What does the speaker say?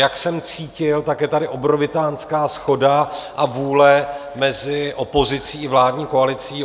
Jak jsem cítil, tak je tady obrovitánská shoda a vůle mezi opozicí i vládní koalicí.